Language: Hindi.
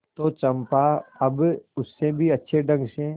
तो चंपा अब उससे भी अच्छे ढंग से